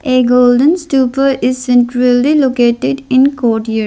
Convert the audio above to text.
a golden stuper is centrally located in cordior.